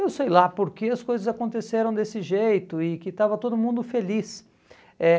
Eu sei lá porque as coisas aconteceram desse jeito e que estava todo mundo feliz. Eh